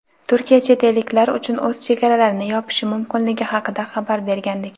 Turkiya chet elliklar uchun o‘z chegaralarini yopishi mumkinligi haqida xabar bergandik.